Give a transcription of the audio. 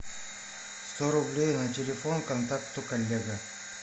сто рублей на телефон контакту коллега